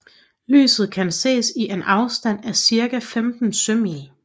Lyset kan ses i en afstand af cirka 15 sømil